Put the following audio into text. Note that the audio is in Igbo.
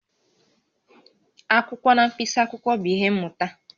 Akwụkwọ na mkpịsị akwụkwọ bụ ihe mmụta